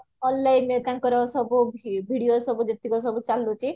onlineରେ ତାଙ୍କର ସବୁ video ସବୁ ଯେତିକ ସବୁ ଚାଲୁଚି